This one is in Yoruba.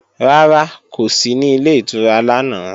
Rárá, kò sí ní Ilé ìtura lánàá